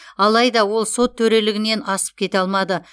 алайда ол сот төрелігінен асып кете алмады